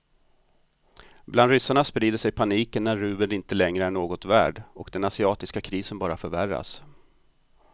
Bland ryssarna sprider sig paniken när rubeln inte längre är något värd och den asiatiska krisen bara förvärras.